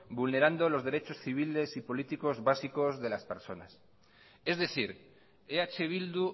vulnerando los derechos civiles y políticos básicos de las personas es decir eh bildu